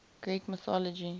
greek mythology